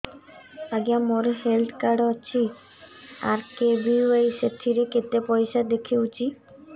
ଆଜ୍ଞା ମୋର health card ଅଛି ଆର୍.କେ.ବି.ୱାଇ ସେଥିରେ କେତେ ପଇସା ଦେଖଉଛି